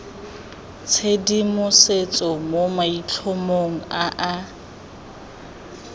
tshedimosetso mo maitlhomong a a